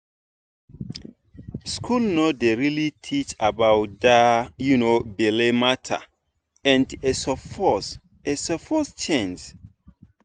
school no dey really teach about that um belle matter and e suppose e suppose change.